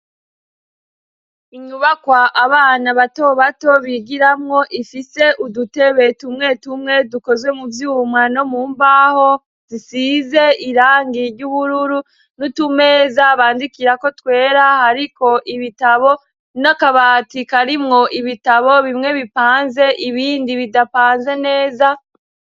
Inyubakwa abana bato bato bigiramwo ifise udutebe tumwe tumwe dukozwe mu vyuma no mu mbaho zisize irangi ry'ubururu n'utumeza bandikirako twera hariko ibitabo n'akabati karimwo ibitabo bimwe bipanze ibindi bidapanze neza.